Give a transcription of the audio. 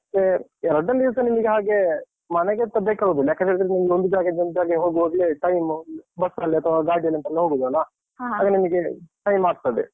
ಮತ್ತೆ ಎರಡ್ನೇ ದಿವ್ಸ ನಿಮ್ಗೆ ಹಾಗೆ ಮನೆ ಅಂತ್ ಬೇಕಾಗುದಿಲ್ಲ. ಯಾಕಂದ್ರೆ ನಿಮ್ಗೊಂದ್ ಒಂದ್ ಜಾಗದಿಂದ ಒಂದು ಜಾಗಗೆ ಹೋಗೋವಾಗ್ಲೆ time bus ಅಲ್ಲೇ ಅಥವಾ ಗಾಡಿಯಲ್ಲೆಂತಾರಾ ಹೋಗುದಲ್ಲ? time ಆಗ್ತದೆ.